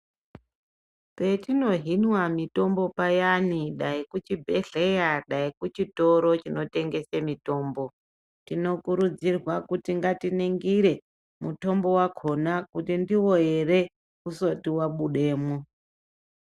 Petinohinwa mitombo payani dai kuchibhedhleya dai kuchitoro chinotengese mitombo tinokurudzirwa kuti ngatiningire mutombo wakona kuti ndiwo here usati wabudemwo.